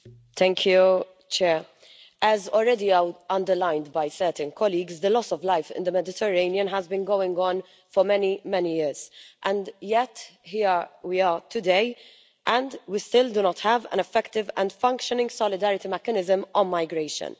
Madam President, as already underlined by certain colleagues, the loss of life in the Mediterranean has been going on for many, many years. And yet, here we are today, and we still do not have an effective and functioning solidarity mechanism on migration.